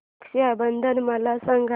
रक्षा बंधन मला सांगा